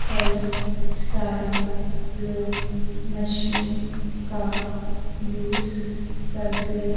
कई सारे लोग मशीन का यूज करते--